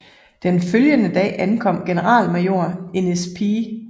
Den følgende dag ankom generalmajor Innis P